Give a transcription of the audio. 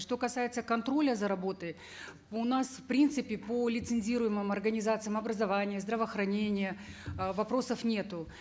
что касается контроля за работой у нас в принципе по лицензируемым организациям образования здравоохранения э вопросов нету